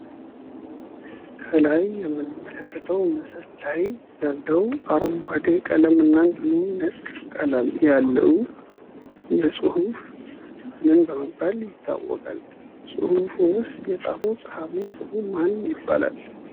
ከላይ የምንመለከተው ምስል ላይ አረንጓዴ ቀለም እና ነጭ ቀለም ያለው የፁህፍ ምን በመባል ይታወቃል? ፁሁፍንሰ የፃፈው ፃፊ ስሙ ማን ይባላል?